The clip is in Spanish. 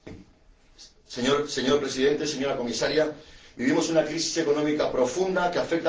Señor Presidente, señora Comisaria, vivimos una crisis económica profunda que afecta al sector de la pesca.